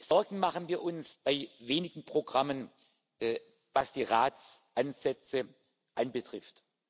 Sorgen machen wir uns bei wenigen Programmen, was die Ratsansätze betrifft.